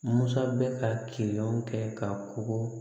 Musa bɛ ka kilɔn kɛ ka kɔgɔ